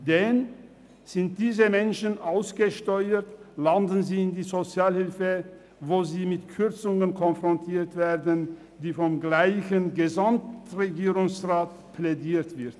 Denn wenn diese Menschen ausgesteuert sind, landen sie in der Sozialhilfe, in der sie mit Kürzungen konfrontiert werden, für die vom gleichen Gesamtregierungsrat plädiert wird.